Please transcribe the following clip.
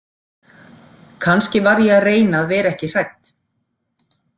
Kannski var ég að reyna að vera ekki hrædd.